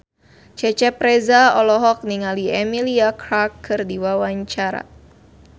Cecep Reza olohok ningali Emilia Clarke keur diwawancara